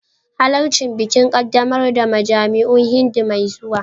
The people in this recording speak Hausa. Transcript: Halarci bikin ƙaddamar da majami'un Hindu mai zuwa